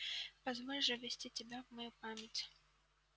позволь же ввести тебя в мою память